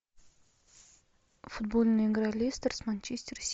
футбольная игра лестер с манчестер сити